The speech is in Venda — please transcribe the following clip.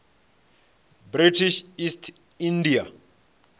british east india